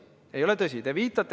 See ei ole tõsi!